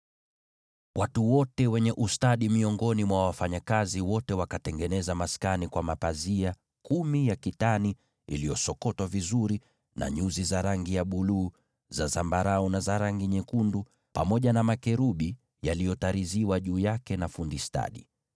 Watu wote wenye ustadi miongoni mwa wafanyakazi wote wakatengeneza maskani kwa mapazia kumi ya kitani iliyosokotwa vizuri, na nyuzi za rangi ya buluu, za zambarau, na za rangi nyekundu, naye fundi stadi akatirizi makerubi kwenye mapazia hayo.